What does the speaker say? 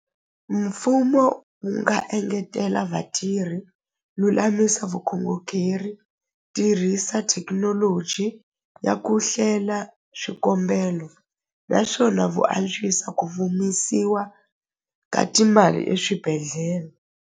Mfumo wu nga engetela vatirhi lulamisa tirhisa thekinoloji ya ku hlela swikombelo naswona vu antswisa ku ka timali eswibedhlele.